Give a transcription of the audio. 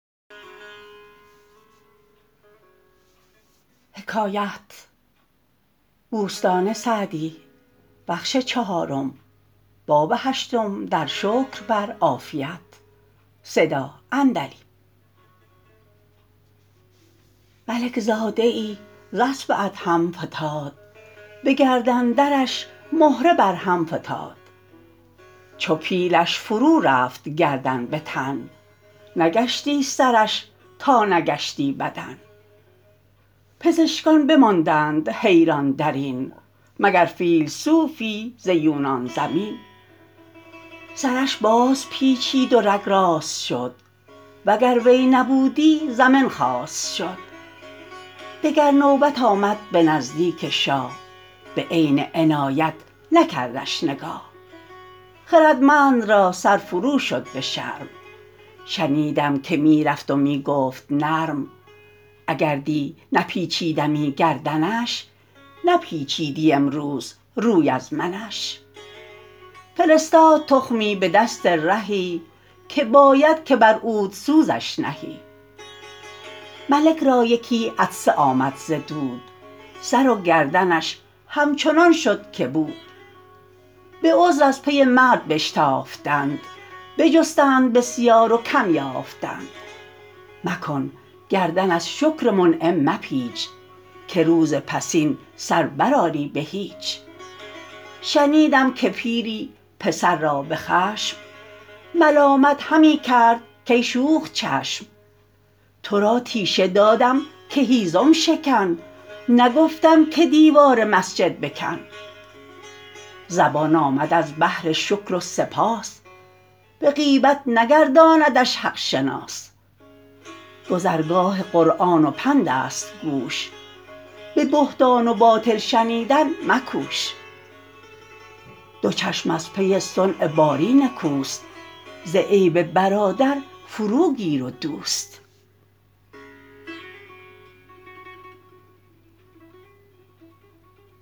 ملک زاده ای ز اسب ادهم فتاد به گردن درش مهره بر هم فتاد چو پیلش فرو رفت گردن به تن نگشتی سرش تا نگشتی بدن پزشکان بماندند حیران در این مگر فیلسوفی ز یونان زمین سرش باز پیچید و رگ راست شد وگر وی نبودی زمن خواست شد دگر نوبت آمد به نزدیک شاه به عین عنایت نکردش نگاه خردمند را سر فرو شد به شرم شنیدم که می رفت و می گفت نرم اگر دی نپیچیدمی گردنش نپیچیدی امروز روی از منش فرستاد تخمی به دست رهی که باید که بر عودسوزش نهی ملک را یکی عطسه آمد ز دود سر و گردنش همچنان شد که بود به عذر از پی مرد بشتافتند بجستند بسیار و کم یافتند مکن گردن از شکر منعم مپیچ که روز پسین سر بر آری به هیچ شنیدم که پیری پسر را به خشم ملامت همی کرد کای شوخ چشم تو را تیشه دادم که هیزم شکن نگفتم که دیوار مسجد بکن زبان آمد از بهر شکر و سپاس به غیبت نگرداندش حق شناس گذرگاه قرآن و پند است گوش به بهتان و باطل شنیدن مکوش دو چشم از پی صنع باری نکوست ز عیب برادر فرو گیر و دوست